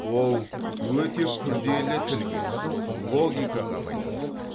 ол өте күрделі тілге логикаға байланысты